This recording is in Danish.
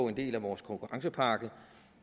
en del af vores konkurrencepakke